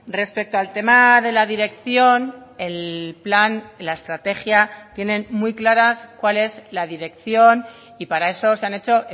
respecto al tema de la dirección el plan la estrategia tienen muy claras cuál es la dirección y para eso se han hecho